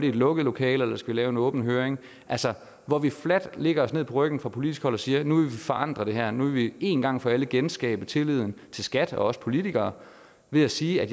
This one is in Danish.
et lukket lokale eller skal vi lave en åben høring altså hvor vi fladt lægger os ned på ryggen fra politisk hold og siger at nu vil vi forandre det her nu vil vi en gang for alle genskabe tilliden til skat og os politikere ved at sige at